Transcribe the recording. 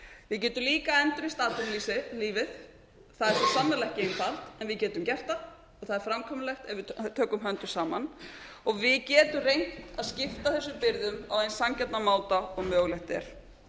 við getum líka endurreist atvinnulífið það er svo sannarlega ekki einfalt en við getum gert það og það er framkvæmanlegt ef við tökum höndum saman og við getum reynt að skipta þessum byrðum á eins sanngjarnan máta og mögulegt er við